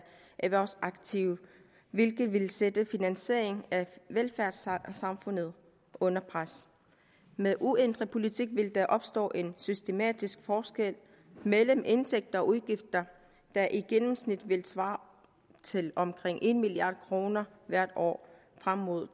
erhvervsaktive hvilket vil sætte finansieringen af velfærdssamfundet under pres med uændret politik vil der opstå en systematisk forskel mellem indtægter og udgifter der i gennemsnit vil svare til omkring en milliard kroner hvert år frem mod